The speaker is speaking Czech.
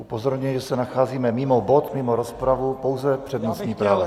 Upozorňuji, že se nacházíme mimo bod, mimo rozpravu, pouze přednostní práva.